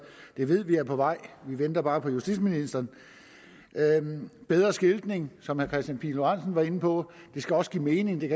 ved vi er på vej vi venter bare på justitsministeren bedre skiltning som herre kristian pihl lorentzen var inde på det skal også give mening det